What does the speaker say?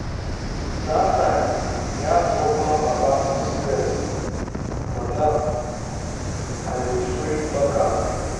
dat time e hard to open up about pcos but now i dey free talk am.